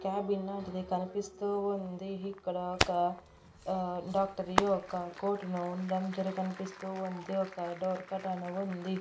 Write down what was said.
Cabin లాంటిది కనిపిస్తూ ఉంది ఇక్కడ ఒక ఆ డాక్టర్ యొక్క కోట్ ను ఉండడం జర కనిపిస్తూ ఉంది ఒక డోర్ కర్టెను ఉంది.